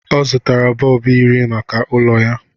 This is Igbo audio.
ọ zụtara bọlbụ iri maka ụlọ ya